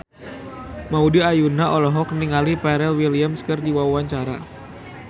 Maudy Ayunda olohok ningali Pharrell Williams keur diwawancara